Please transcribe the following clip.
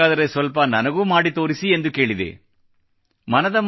ಹಾಗಾದರೆ ಸ್ವಲ್ಪ ನನಗೂ ಮಾಡಿ ತೋರಿಸಿ ಎಂದು ಕೇಳಿದಾಗ ನನಗೆ ಬಹಳ ಆಶ್ಚರ್ಯವಾಯಿತು